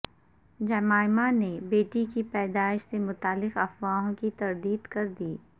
Jemima نے بیٹی کی پیدائش سے متعلق افواہوں کی تردید کردی